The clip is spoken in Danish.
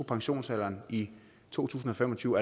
pensionsalderen i to tusind og fem og tyve